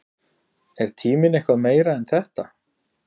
Er tíminn eitthvað meira en þetta?